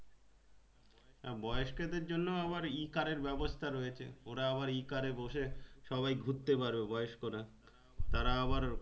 বয়স্ক দেড় জন্যে আবার E-car এর ব্যবস্থাও রয়েছে ওরা আবার E-car এ বসে সবাই ঘুরতে পারো বয়স্করা